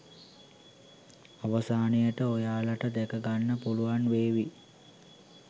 අවසානයට ඔයාලට දැක ගන්න පුළුවන් වේවි